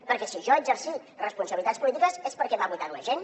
perquè si jo he exercit responsabilitats polítiques és perquè m’ha votat la gent